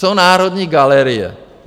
Co Národní galerie?